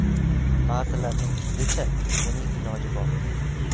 Ba’zilarning fikricha, buning iloji bor.